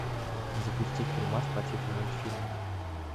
запусти фильмас по типу мультфильма